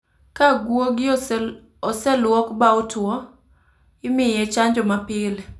Ka guogi oseluok ba otuo, imiye chanjo ma pile